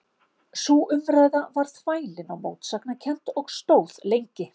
Sú umræða varð þvælin og mótsagnakennd og stóð lengi.